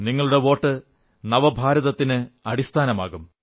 നിങ്ങളുടെ വോട്ട് നവഭാരതത്തിന് അടിസ്ഥാനമാകും